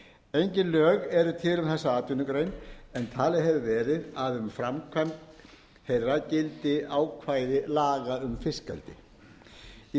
engin lög eru til um þessa atvinnugrein en talið hefur verið að um framkvæmd þeirra gildi ákvæði laga um fiskeldi í